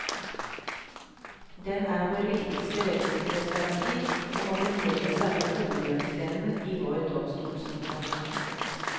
Den er vår viktigste rettssikkerhetsgaranti og må fremdeles være hovedhjørnestenen i vår domstolskontroll.